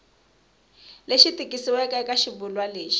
lexi tikisiweke eka xivulwa lexi